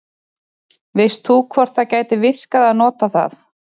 veist þú hvort það gæti virkað að nota það